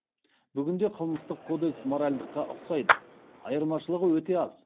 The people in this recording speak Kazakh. бүгінде қылмыстық кодекс моральдыққа ұқсайды айырмашылығы өте аз